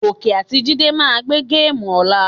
Gòkè àti Jídé máa gbé géèmù ọ̀la.